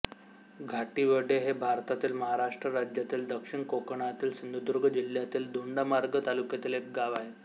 घाटिवडे हे भारतातील महाराष्ट्र राज्यातील दक्षिण कोकणातील सिंधुदुर्ग जिल्ह्यातील दोडामार्ग तालुक्यातील एक गाव आहे